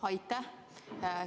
Aitäh!